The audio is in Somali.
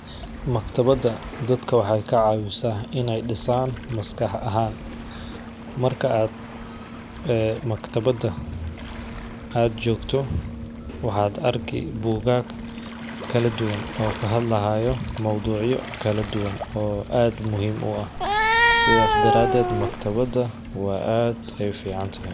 Maktabada dadka waxaay kacawisaah in ay disan maskax ahan. Marka ad ee maktabada ad jogto waxaad arki bugag kala duwan oo kahadlayo mowducyo kaladuwan oo ad muhim u ah, sidas daraded markatabada wa ad ay u ficantah.